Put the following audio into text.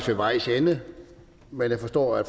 ved vejs ende men jeg forstår at